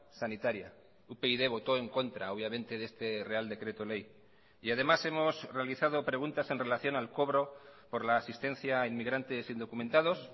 sanitaria upyd votó en contra obviamente de este real decreto ley y además hemos realizado preguntas en relación al cobro por la asistencia a inmigrantes indocumentados